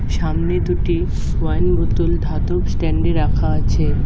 সামনে দুটি ওয়াইন বোতল ধাতব স্ট্যান্ডে রাখা আছে।